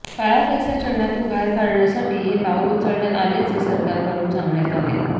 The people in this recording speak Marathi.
काळा पैसा चलनातून बाहेर करण्यासाठी हे पाऊल उचलण्यात आल्याचे सरकारकडून सांगण्यात आले